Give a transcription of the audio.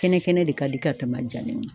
Kɛnɛ kɛnɛ de ka di ka tɛmɛ a jalen kan